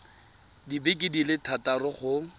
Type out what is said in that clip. dibeke di le thataro go